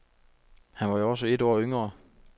Han var jo også et år yngre.